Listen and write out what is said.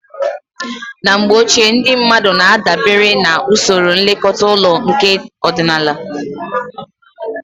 Na mgbe ochie, ndị mmadụ na-adabere na usoro nlekọta ụlọ nke ọdịnala